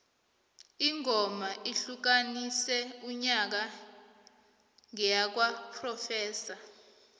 ingoma ehlukanise unyaka ngeyakaprofessor